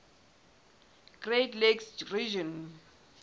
great lakes region